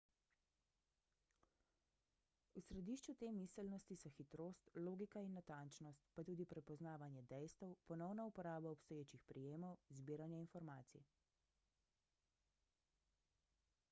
v središču te miselnosti so hitrost logika in natančnost pa tudi prepoznavanje dejstev ponovna uporaba obstoječih prijemov zbiranje informacij